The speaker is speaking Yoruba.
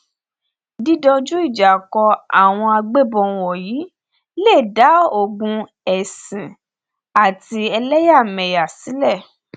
dídójú ìjà kó àwọn agbébọn wọnyí lè dá ogún ẹsìn àti ẹlẹyàmẹyà sílẹ